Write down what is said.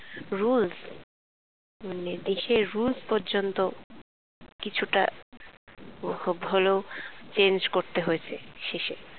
rules মানে দেশের rules পর্যন্ত কিছুটা খুব হলেও change করতে হয়ছে শেষে।